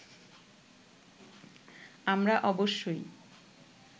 আমরা অবশ্যই